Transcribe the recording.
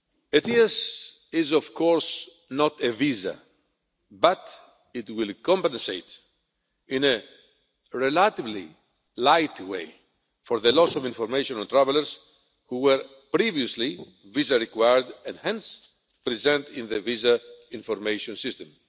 ETIAS is, of course, not a visa, but it will compensate in a relatively light way for the loss of information on travellers who were previously visa required and hence present in the Visa Information System